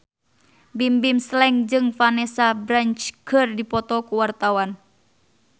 Bimbim Slank jeung Vanessa Branch keur dipoto ku wartawan